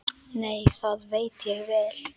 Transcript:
Nei, það veit ég vel.